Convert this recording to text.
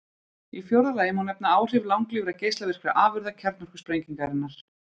Í fjórða lagi má nefna áhrif langlífra geislavirkra afurða kjarnorkusprengingarinnar.